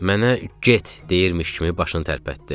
Mənə get, deyirmiş kimi başını tərpətdi.